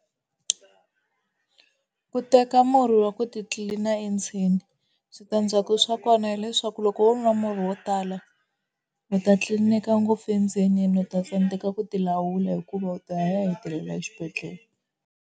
Ku teka murhi wa ku titlilina endzeni, switandzhaku swa kona hileswaku loko wo nwa murhi wo tala u ta tlilineka ngopfu endzeni u ta tsandzeka ku ti lawula hikuva u ta ya hetelela exibedhlele.